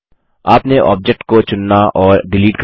आपने ऑब्जेक्ट को चुनना और डिलीट करना